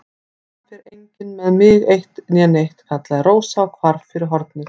Það fer enginn með mig eitt né neitt, kallaði Rósa og hvarf fyrir hornið.